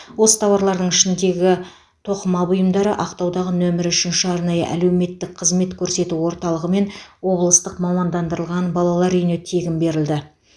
осы тауарлардың ішіндегі тоқыма бұйымдары ақтаудағы нөмірі үшінші арнайы әлеуметтік қызмет көрсету орталығы мен облыстық мамандандырылған балалар үйіне тегін берілді